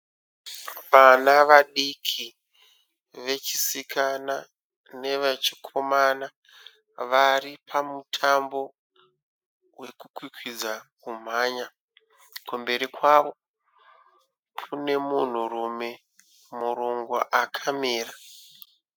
Vana vadiki vechisikana neve chikomana, vari pamutambo weku kwikwidza kumhanya, kumberi kwavo kune munhurume murungu akamira.